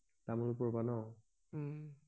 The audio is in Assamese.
তামোলপুৰৰ পৰা ন উম